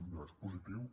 no és positiu